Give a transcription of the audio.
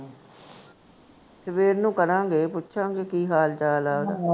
ਸਵੇਰ ਨੂੰ ਕਰਾਂਗੇ, ਪੁੱਛਾਂਗੇ ਕੀ ਹਾਲ ਚਾਲ ਐ ਓਹਦਾ